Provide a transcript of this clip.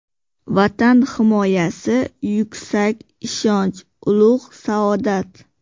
Vatan himoyasi yuksak ishonch, ulug‘ saodat.